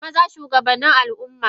Maza shugabannin Al ummane.